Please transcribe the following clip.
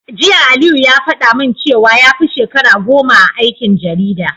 Jiya Aliyu ya faɗa min cewa yafi shekara goma a aikin jarida.